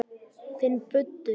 Finn buddu.